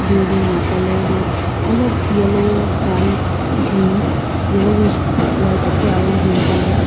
building la colour toh olop yellow white green yellowish white ase aro green colour ase.